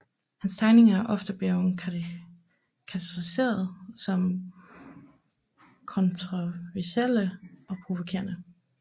Hans tegninger er ofte blevet karakteriseret som kontroversielle og provokerende